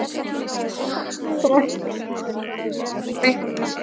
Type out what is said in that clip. Þetta er eitt af því sem er ekki vitað með vissu.